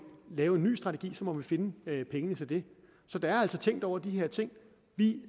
lave en ny strategi så må vi finde pengene til det så der er altså tænkt over de her ting vi